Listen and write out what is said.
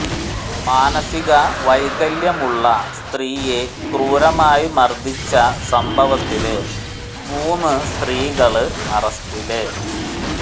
മാനസിക വൈകല്യമുള്ള സ്ത്രീയെ ക്രൂരമായി മര്ദ്ദിച്ച സംഭവത്തില് മൂന്ന് സ്ത്രീകള് അറസ്റ്റില്